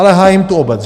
Ale hájím tu obec.